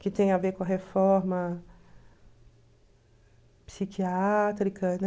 Que tem a ver com a reforma psiquiátrica